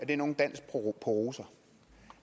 er nogen dans på roser